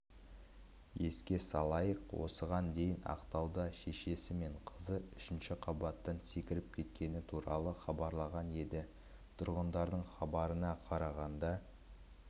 еске салайық осыған дейін ақтауда шешесі мен қызы үшінші қабаттан секіріп кеткені хабарланған еді тұрғындардың хабарына қарағанда